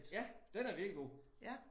Ja den er virkelig god